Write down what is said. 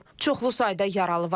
Çoxlu sayda yaralı var.